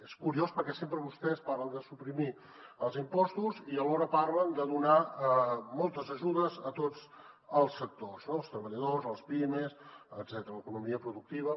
és curiós perquè sempre vostès parlen de suprimir els impostos i alhora parlen de donar moltes ajudes a tots els sectors no els treballadors les pimes etcètera l’economia productiva